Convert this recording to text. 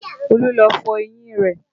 Olú lọ fọ eyín rẹ̀